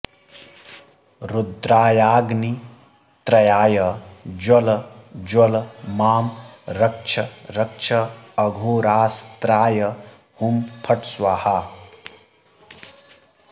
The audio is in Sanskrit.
रुद्रायाग्नित्रयाय ज्वल ज्वल मां रक्ष रक्ष अघोरास्त्राय हुं फट् स्वाहा